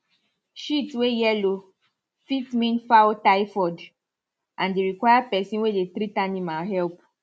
shit way yellow fit mean fowl typhoid and e require person way dey treat animal help